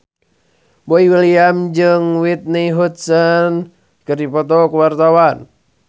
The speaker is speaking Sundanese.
Boy William jeung Whitney Houston keur dipoto ku wartawan